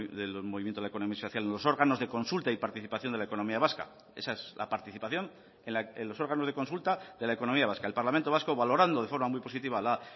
del movimiento de la economía social los órganos de consulta y participación de la economía vasca esa es la participación en los órganos de consulta de la economía vasca el parlamento vasco valorando de forma muy positiva la